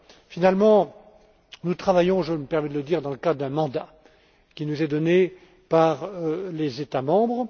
Finalement, nous travaillons je me permets de le dire dans le cadre d'un mandat qui nous est donné par les États membres.